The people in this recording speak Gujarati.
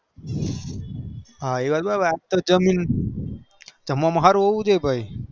હા એવાત બરો બર આજકાલ જમવામાં હારું હોવું જોઈ એ